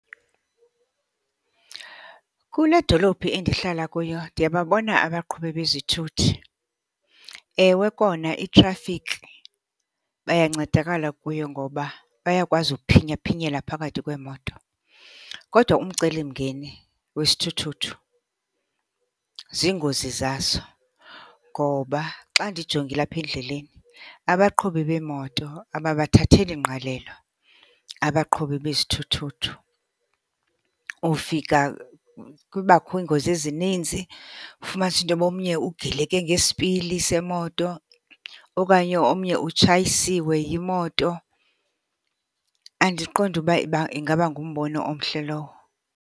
Kule dolophi endihlala kuyo ndiyababona abaqhubi bezithuthi. Ewe kona itrafiki bayancedakala kuyo ngoba bayakwazi uphinyaphinyela phakathi kweemoto. Kodwa umcelimngeni wesithuthuthu ziingozi zaso ngoba xa ndijongile apha endleleni abaqhubi beemoto ababathatheli ngqalelo abaqhubi bezithuthuthu. Ufika kubakho iingozi ezininzi, ufumanise into yoba omnye ugileke ngesipili semoto okanye omnye utshayisiwe yimoto. Andiqondi uba uba ingaba ngumbono omhle lowo.